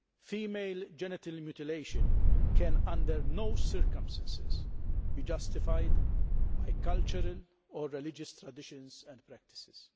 Female genital mutilation can under no circumstances be justified by cultural or religious traditions and practices.